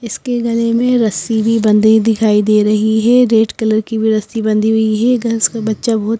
इसके गले में रस्सी भी बंधी दिखाई दे रही है रेड कलर की भी रस्सी बंधी हुई है घस का बच्चा बहुत --